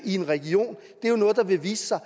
i en region det er jo noget der vil vise sig